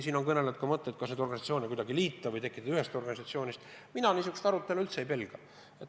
Siin on välja pakutud ka mõtteid, et ehk võiks teatud organisatsioone liita – mina niisugust arutelu üldse ei pelga.